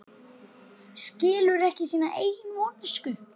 Skilur ekki sína eigin vonsku.